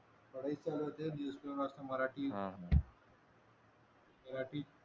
पढाई चालू होते मराठी मराठी